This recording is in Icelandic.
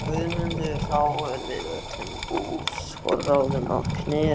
Guðmundur þá við öllum búsforráðum að Knerri.